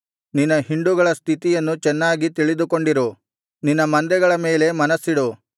ನಿನ್ನ ಹಿಂಡುಗಳ ಸ್ಥಿತಿಯನ್ನು ಚೆನ್ನಾಗಿ ತಿಳಿದುಕೊಂಡಿರು ನಿನ್ನ ಮಂದೆಗಳ ಮೇಲೆ ಮನಸ್ಸಿಡು